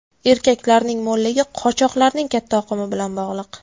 Erkaklarning mo‘lligi qochoqlarning katta oqimi bilan bog‘liq.